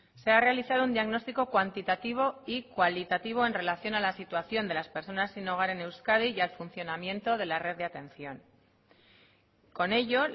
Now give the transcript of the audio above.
se ha realizado un diagnóstico cuantitativo y cualitativo en relación a la situación de las personas sin hogar en euskadi y al funcionamiento de la red de atención con ello